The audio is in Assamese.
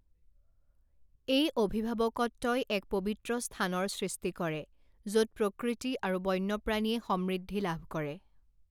এই অভিভাৱকত্বই এক পবিত্ৰ স্থানৰ সৃষ্টি কৰে য'ত প্ৰকৃতি আৰু বন্যপ্ৰাণীয়ে সমৃদ্ধি লাভ কৰে।